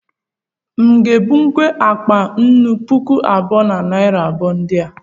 M nga ebuwu akpa nnù puku abụọ na narị abụọ ndị a